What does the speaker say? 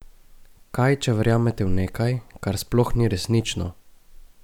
Kaj če verjamete v nekaj, kar sploh ni resnično?